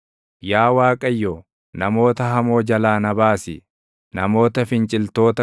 Yaa Waaqayyo, namoota hamoo jalaa na baasi; namoota finciltoota